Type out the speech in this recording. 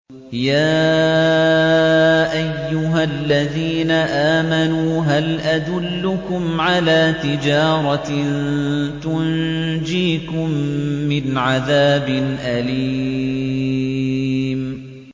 يَا أَيُّهَا الَّذِينَ آمَنُوا هَلْ أَدُلُّكُمْ عَلَىٰ تِجَارَةٍ تُنجِيكُم مِّنْ عَذَابٍ أَلِيمٍ